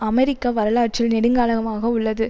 அமெரிக்க வரலாற்றில் நெடுங்காலமாக உள்ளது